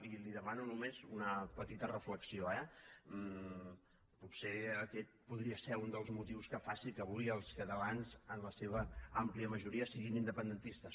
i li demano només una petita reflexió eh potser aquest podria ser un dels motius que faci que avui els catalans en la seva àmplia majora siguin independentistes